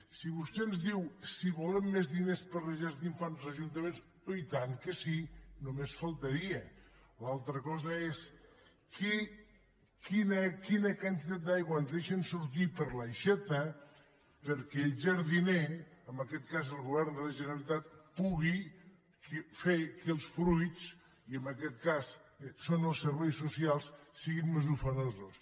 si vostè ens diu si volem més diners per a les llars d’infants els ajuntaments oh i tant que sí només faltaria una altra cosa és quina quantitat d’aigua ens deixen sortir per l’aixeta perquè el jardiner en aquest cas el govern de la generalitat pugui fer que els fruits i en aquest cas són els serveis socials siguin més ufanosos